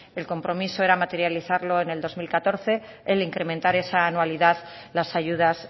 el compromiso era materializarlo en el dos mil catorce el incrementar esa anualidad las ayudas